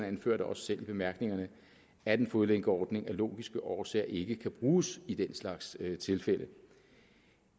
anfører da også selv i bemærkningerne at en fodlænkeordning af logiske årsager ikke kan bruges i den slags tilfælde